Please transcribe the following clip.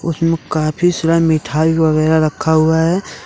काफी सारा मिठाई वागैरा रखा हुआ है।